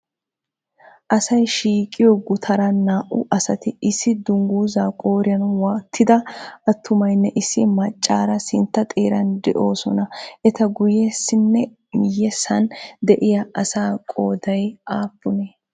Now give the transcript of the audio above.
Asay shiiqqiyoo gutaran naa"u asati issi dungguzaa qooriyan wattida atumaynne issi maccaara sintta xeeran doosona. ita guyessanninne miyessan de"iyaa asaa qooday aapunee?